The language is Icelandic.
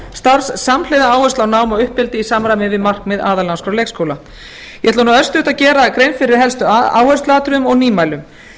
leikskólastarfs samhliða áherslu á nám og uppeldi í samræmi við markmið aðalnámskrár leikskóla ég ætla örstutt að gera grein fyrir helstu áhersluatriðum og nýmælum